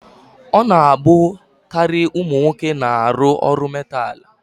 Ọ na-abụkarị ụmụ nwoke na-arụ ọrụ metaalụ.